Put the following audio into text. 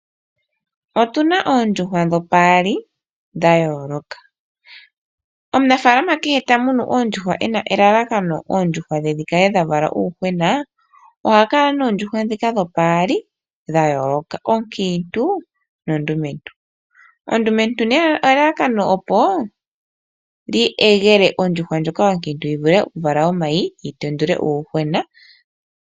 Otuna oondjuhwa dhopaali dha yooloka, omunafalama kehe tamunu oondjuhwa ena elalakano lyoondjuhwa dhivale uuyuhwena oha kala noondjuhwa dhomaludhi gaali oonkintu noondumentu. Elalakano lyoondjuhwa ondumentu okuyegela ondjuhwa onkintu yivule okuvala omayi nokutendula uuyuhwena.